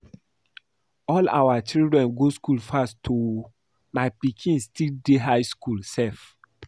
All your children go school fast oo. My pikin still dey high school sef.